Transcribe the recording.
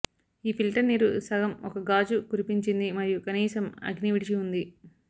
ఈ ఫిల్టర్ నీరు సగం ఒక గాజు కురిపించింది మరియు కనీసం అగ్ని విడిచి ఉంది